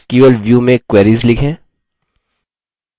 कैसे sql view में queries लिखें